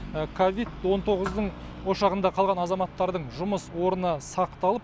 ковид он тоғыздың ошағында қалған азаматтардың жұмыс орны сақталып